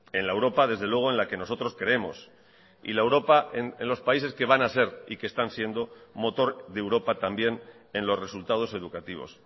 en la europa desde luego en la que nosotros creemos y la europa en los países que van a ser y que están siendo motor de europa también en los resultados educativos